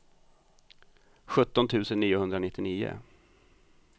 sjutton tusen niohundranittionio